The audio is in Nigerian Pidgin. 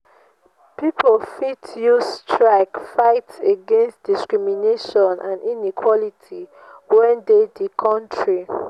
pipo fit use strike fight against discrimination and inequality wey de di country